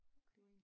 Okay